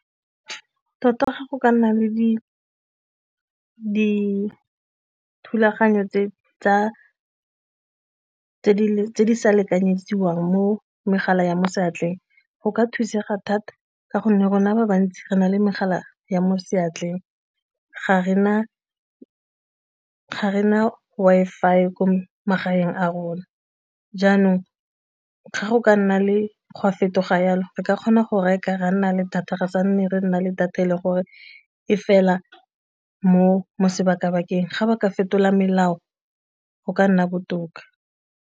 Tota ya gago ka nna le dithulaganyo tse di sa lekanyetswang mo megala ya mo seatleng, go ka thusega thata ka gonne rona ba bantsi re na le megala ya mo seatleng ga re na Wi-Fi ya ko magaeng a rona, jaanong o tlhaga go ka nna le go fetoga jalo re ka kgona go reka ra nna le data re sa nne re nna le data e le gore e fela mo sebaka-bakeng ga ba ka fetola melao go ka nna botoka.